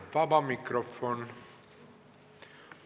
Vaba mikrofon.